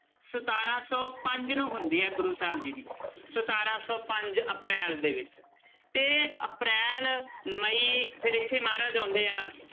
ਸਤਾਰਾਂ ਸੌ ਪੰਜ ਨੂੰ ਹੁੰਦੀ ਹੈ ਗੁਰੂ ਸਾਹਿਬ ਜੀ ਦੀ ਸਤਾਰਾਂ ਸੌ ਪੰਜ ਅਪ੍ਰੈਲ ਦੇ ਵਿੱਚ ਤੇ ਅਪ੍ਰੈਲ ਮਈ ਫਿਰ ਇੱਥੇ ਮਹਾਰਾਜ ਆਉਂਦੇ ਆ,